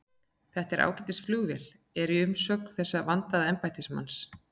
Þetta er ágætis flugvél er umsögn þessa vandaða embættismanns.